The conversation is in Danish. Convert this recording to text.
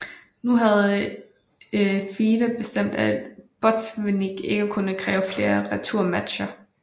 Nu havde FIDE bestemt at Botvinnik ikke kunne kræve flere returmatcher